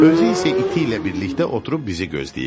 Özü isə iti ilə birlikdə oturub bizi gözləyirdi.